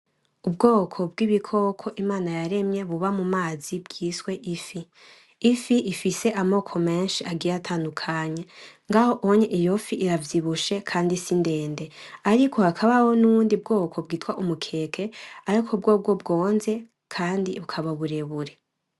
Ubwoko bw'bikoko Imana yaremye buba mumazi bwita ifi; ifi ifise amoko menshi atadukanye, ngaho iyo fi iravyibushe kandi sindende ariko hakabaho nubundi bwoko bwita umukeke ariko bwo bwo bwoze kandi bukaba burebure.